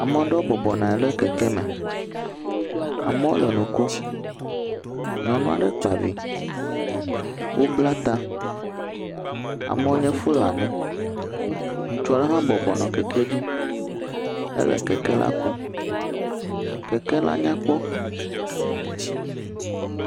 Ame aɖewo bɔbɔ nɔ anyi ɖe kɛkɛ me. Amewo le nu kom. Nyɔnu aɖe kpa vi. Wobla ta, amewo nye Fulani. Ŋutsu aɖe hã bɔbɔ nɔ kɛkɛ dzi hele kɛkɛ la kum. Kɛkɛ la nyakpɔ.